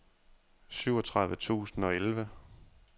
syvogtredive tusind og elleve